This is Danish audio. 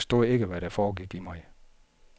De forstod ikke, hvad der foregik i mig.